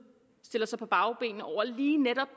stiller sig på bagbenene over lige netop